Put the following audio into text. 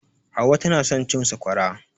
Hauwa tana son cin Sakwara.